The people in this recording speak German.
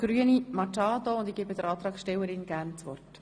Gerne erteile ich der Antragstellerin das Wort.